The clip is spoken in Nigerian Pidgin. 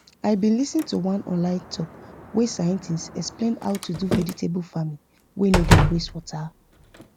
i bin lis ten to one online talk wey scientists explain how to do vegetable farming wey no dey waste water